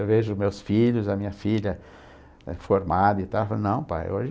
Eu vejo meus filhos, a minha filha formada e tal, eu falo, não pai, hoje...